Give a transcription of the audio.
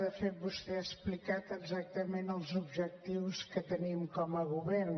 de fet vostè ha explicat exactament els objectius que tenim com a govern